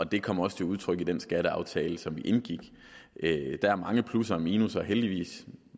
det kommer også til udtryk i den skatteaftale som vi indgik der er mange plusser og minusser heldigvis